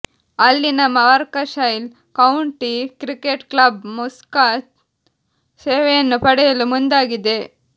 ಅಲ್ಲಿನ Warwickshire county cricket club Mushtaq ಸೇವೆಯನ್ನು ಪಡೆಯಲು ಮುಂದಾಗಿದೆ